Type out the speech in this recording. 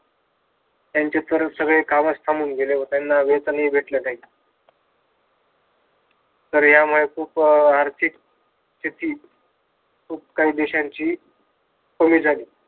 त्यांचे सगळ सगळे कामच थांबून गेले त्यांना वेतन हि भेटले नाही. तर ह्यामुळे खूप आर्थिक स्थिती खूप काही देशांची कमी झाली.